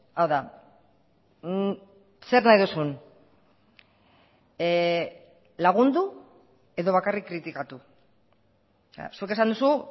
hau da zer nahi duzun lagundu edo bakarrik kritikatu zuk esan duzu